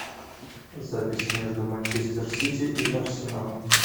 запись между манчестер сити и арсеналом